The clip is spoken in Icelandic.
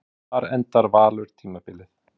Hvar endar Valur tímabilið?